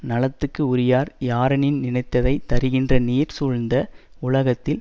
நலத்துக்கு உரியார் யாரெனின் நினைத்ததை தருகின்ற நீர் சூழ்ந்த வுலகத்தில்